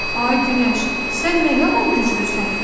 Ay Günəş, sən nə yaman güclüsən?